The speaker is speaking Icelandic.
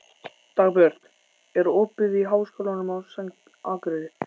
Dagbjört, er opið í Háskólanum á Akureyri?